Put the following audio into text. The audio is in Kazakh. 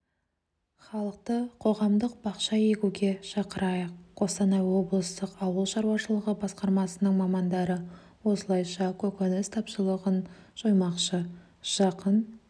халықты қоғамдық бақша егуге шақырайық қостанай облыстық ауыл шаруашылығы басқармасының мамандары осылайша көкөніс тапшылығын жоймақшы жақын